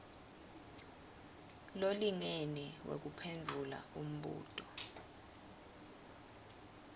lolingene wekuphendvula umbuto